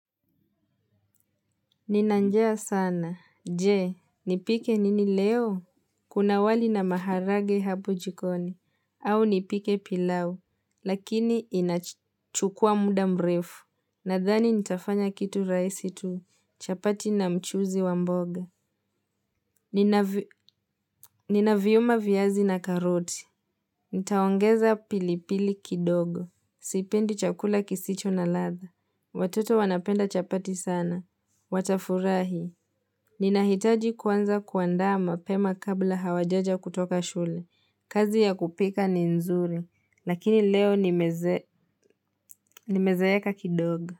Nina njaa sana. Je, nipike nini leo? Kuna wali na maharage hapo jikoni. Au nipike pilau. Lakini inachukua muda mrefu. Nadhani nitafanya kitu rahisi tu. Chapati na mchuzi wa mboga. Ninaviuma viazi na karoti. Nitaongeza pilipili kidogo. Sipendi chakula kisicho na ladha. Watoto wanapenda chapati sana. Watafurahi. Nina hitaji kuanza kuandaa mapema kabla hawajaja kutoka shule. Kazi ya kupika ni nzuri. Lakini leo nimezeeka kidogo.